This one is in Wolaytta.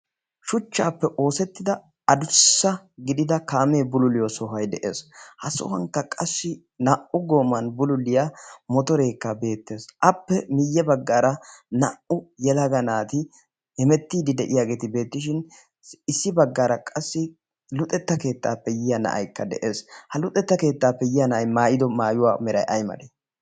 shuchchaappe oosettida adussa gidida kaamee bululiyo sohoai de7ees. ha sohuwankka qassi naa77u gooman bululiyaa motoreekka beettees. appe miyye baggaara naa77u yelaga naati hemettiidi de7iyaageeti beettishin issi baggaara qassi luuxetta keettaappe yiya na7aikka de7ees. ha luuxetta keettaappe yiya na7ai maayido maayuwaa merai aimalee?